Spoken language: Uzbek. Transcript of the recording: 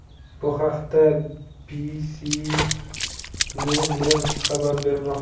Bu haqda CBSNews xabar bermoqda .